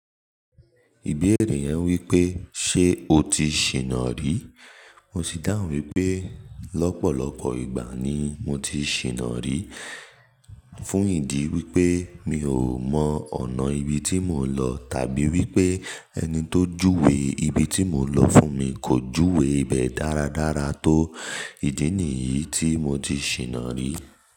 Ìbéèrè yẹn wípé, ṣé o ti ṣìnà rí? Mo sì dáhùn wípé, lọ́pọ̀lọpọ̀ ìgbà ni mo ti ṣìnà rí. Fún ìdí wípé mi ò mọ ọ̀nà ibi tí mò ń lọ tàbí wípé ẹni tó júwe ibi tí mò ń lọ fún mi kò júwe ibẹ̀ dáradára tó. Ìdí nìyí tí mo ti ṣìnà rí.